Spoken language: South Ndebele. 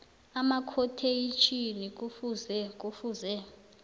amakhotheyitjhini kufuze kufuze